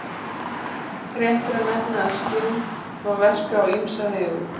Rétt er að nefna að skinn má verka á ýmsa vegu.